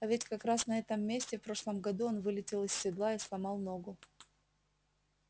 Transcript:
а ведь как раз на этом месте в прошлом году он вылетел из седла и сломал ногу